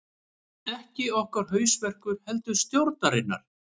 Ekki okkar hausverkur heldur stjórnarinnar